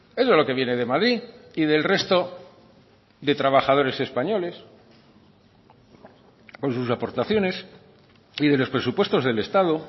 eso es lo que viene de madrid y del resto de trabajadores españoles con sus aportaciones y de los presupuestos del estado